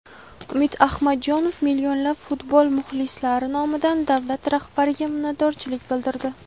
Umid Ahmadjonov millionlab futbol muxlislari nomidan davlat rahbariga minnatdorchilik bildirdi.